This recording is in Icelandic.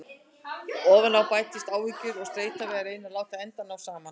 Ofan á bætast áhyggjur og streita við að reyna að láta enda ná saman.